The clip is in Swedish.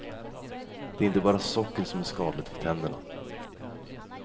Det är inte bara socker som är skadligt för tänderna.